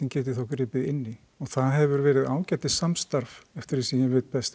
geti þá gripið inn í og það hefur verið ágætis samstarf eftir því sem ég veit best